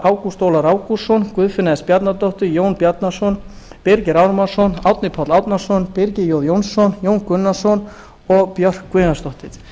ágúst ólafur ágústsson guðfinna s bjarnadóttir jón bjarnason birgir ármannsson árni páll árnason birkir j jónsson jón gunnarsson og björk guðjónsdóttir